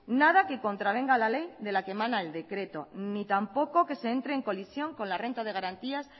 nada que contravenga la ley de la que mana el decreto ni tampoco que se entre en colisión con la renta de garantías